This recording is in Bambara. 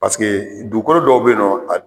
Paseke dugukoolo dɔw bɛ yen nɔ